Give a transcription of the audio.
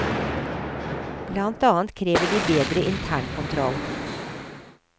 Blant annet krever de bedre internkontroll.